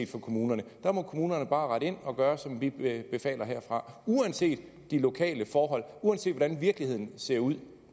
for kommunerne der må kommunerne bare rette ind og gøre som vi befaler herfra uanset de lokale forhold uanset hvordan virkeligheden ser ud